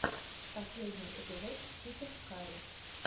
последний эпизод чикен карри